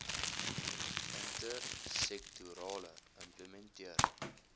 inter sektorale implementering